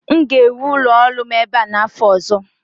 M ga-ewu ụlọ ọrụ m ebe a n'afọ ọzọ